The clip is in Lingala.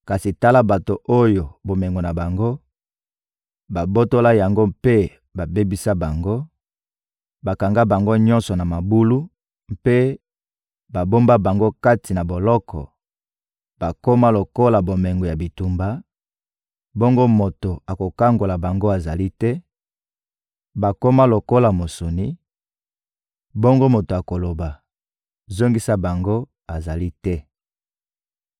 Kasi tala bato oyo bomengo na bango, babotola yango mpe babebisa bango; bakanga bango nyonso na mabulu mpe babomba bango kati na boloko, bakoma lokola bomengo ya bitumba, bongo moto akokangola bango azali te; bakoma lokola mosuni, bongo moto akoloba: «Zongisa bango,» azali te.